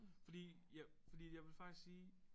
Fordi jeg fordi jeg vil faktisk sige